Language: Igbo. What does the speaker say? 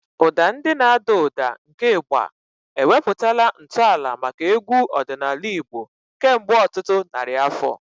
Ụda ndị na-ada ụda nke Igba ewepụtala ntọala maka egwu ọdịnala Igbo kemgbe ọtụtụ narị afọ.